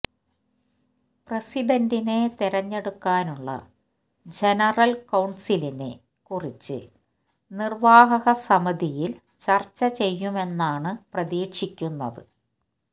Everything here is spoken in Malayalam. പ്രസിഡന്റിനെ തിരഞ്ഞെടുക്കാനുള്ള ജനറൽ കൌൺസിലിനെ കുറിച്ച് നിർവാഹക സമിതിയിൽ ചർച്ച ചെയ്യുമെന്നാണ് പ്രതീക്ഷിക്കുന്നത്